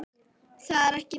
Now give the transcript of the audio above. Það er ekkert lítið!